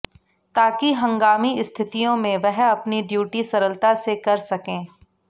ताकि हंगामी स्थितियों में वह अपनी डियूटी सरलता से कर सकें